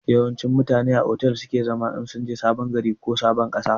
Yawanci mutane a otel su ke zama in sunje sabon gari ko ƙasa